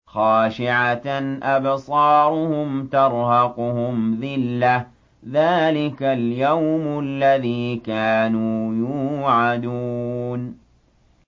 خَاشِعَةً أَبْصَارُهُمْ تَرْهَقُهُمْ ذِلَّةٌ ۚ ذَٰلِكَ الْيَوْمُ الَّذِي كَانُوا يُوعَدُونَ